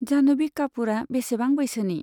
जाह्नभि कापुरा बेसेबां बैसोनि?